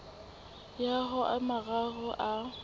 ya ho a mararo a